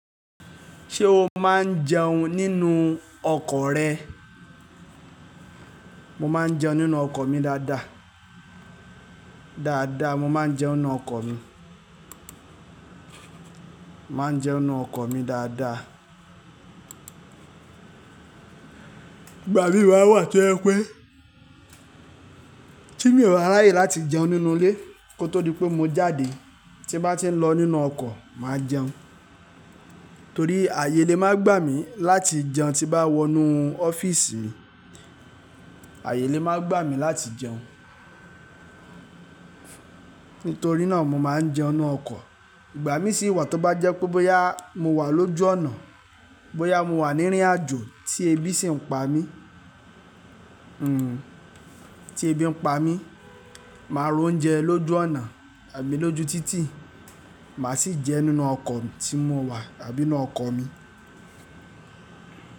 Ṣé o máa ń jẹun nínú ọkọ̀ rẹ? Mo máa ń jẹun nínú ọkọ̀ mi dáadáa. Dáadáa, mo máa ń jẹun nínú ọkọ̀ mi. Máa ń jẹun nínú ọkọ̀ mi dáadáa. Ìgbà mí wa wà tí ẹ pé tí mi ò bà ráyè láti jẹun nínú ilé kó tó di pé mo jáde tí bá ti ń lọ nínú ọkọ̀ máa jẹun. Torí ayé ilé máa gbà mí láti jẹun tí bá wọ inú ọ́fíìsì, ayé ilé máa gbà mí láti jẹun. Nítorí náà mo máa ń jẹun nínú ọkọ̀. Ìgbà mí sì wà tó bá jẹ́ pé bóyá mo wà lójú ọ̀nà, bóyá mo wà ní rín àjò tí ebi sì ń pa mí, hm, tí ebi ń pa mí, màá ra oúnjẹ lójú ọ̀nà àbí lójú títì, màá sì jẹ nínú ọkọ̀ tí mo wà àbí inú ọkọ̀ mi.